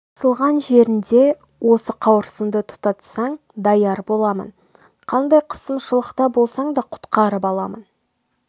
қысылған жеріңде осы қауырсынды тұтатсаң даяр боламын қандай қысымшылықта болсаң да құтқарып аламын